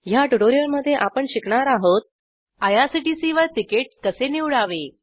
ह्या ट्युटोरिअलमध्ये आपण शिकणार आहोत आयआरसीटीसीवर तिकीट कसे निवडावे